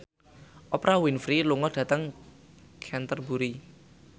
Oprah Winfrey lunga dhateng Canterbury